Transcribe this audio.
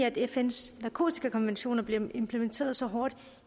at fns narkotikakonventioner bliver implementeret så hårdt